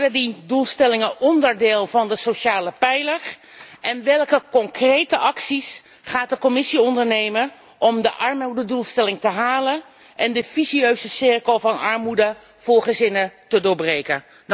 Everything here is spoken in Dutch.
Hoe worden die doelstellingen onderdeel van de sociale pijler en welke concrete acties gaat de Commissie ondernemen om de armoededoelstelling te halen en de vicieuze cirkel van armoede voor gezinnen te doorbreken?